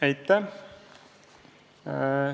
Aitäh!